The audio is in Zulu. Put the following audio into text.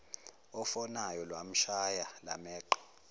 ofonayo lwamshaya lwameqa